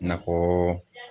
Nakɔ